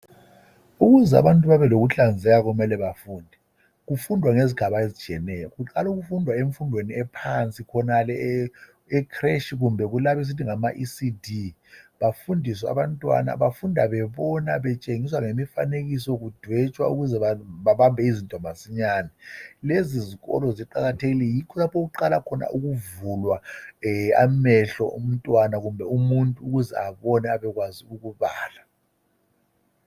Ukuze abantu babe lokuhlanzeka kumele bafunde. Kufundwa ngezigaba ezitshiyeneyo. Kuqala ukufundwa emfundweni ephansi khonale e creche kumbe kulabo esithi ngama ecd. Bafundiswe abantwana bafunda bebona betshengiswa lemifanekiso kudwetshwa ukuze babambe izinto masinyane. Lezizikolo ziqakathekile yikho lapho okuqala khona ukuvulwa amehlo omntwana kumbe umuntu ukuze abone abekwazi ukubala.